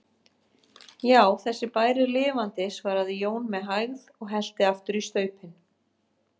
Já, þessi bær er lifandi, svaraði Jón með hægð og hellti aftur í staupin.